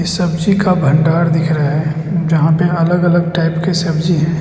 सब्जी का भंडार दिख रहा है जहां पे अलग अलग टाइप की सब्जी है।